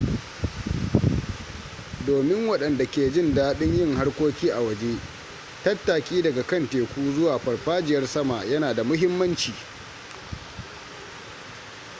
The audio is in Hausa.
domin waɗanda ke jin daɗin yin harkoki a waje tattaki daga kan teku zuwa farfajiyar sama yana da muhimmanci